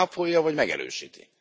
Ön ezt cáfolja, vagy megerősíti?